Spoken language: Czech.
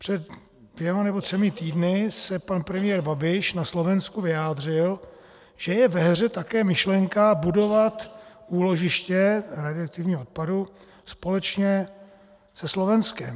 Před dvěma nebo třemi týdny se pan premiér Babiš na Slovensku vyjádřil, že je ve hře také myšlenka budovat úložiště radioaktivního odpadu společně se Slovenskem.